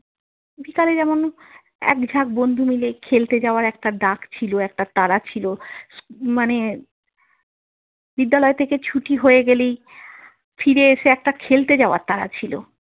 বিকালে যেমন এক ঝাঁক বন্ধু মিলে খেলতে যাওয়ার একটা ডাক ছিল, একটা তাড়া ছিল। মানে বিদ্যালয় থেকে ছুটি হয়ে গেলেই ফিরে এসে একটা খেলতে যাওয়ার তাড়া ছিল।